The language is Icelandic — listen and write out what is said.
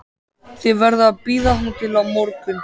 Þið verðið að bíða þangað til á morgun